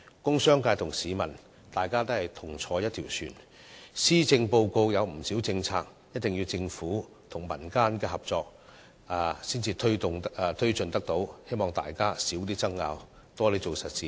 工商界和市民也是同坐一條船，而且施政報告提出的不少政策，也須政府和民間合作才能推進，希望大家減少爭拗和多做實事。